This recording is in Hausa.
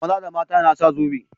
Maza da mata suna sa zobe.